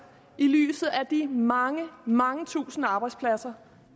i lyset af de mange mange tusinde arbejdspladser